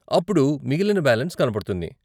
అప్పుడు మిగిలిన బాలెన్స్ కనపడుతుంది.